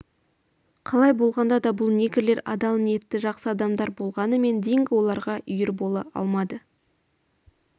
қалай болғанда да бұл негрлер адал ниетті жақсы адамдар болғанымен динго оларға үйір бола алмады